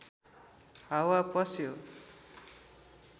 हावा पस्यो